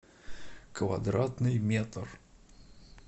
квадратный метр